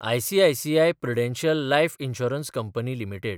ICICI Prudential life insurance company limited